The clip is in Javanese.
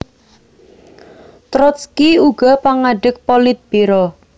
Trotski uga pangadeg Politbiro